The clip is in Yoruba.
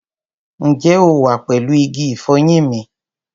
Ǹjẹ́ o wà pẹ̀lú igi ìfọyín mi?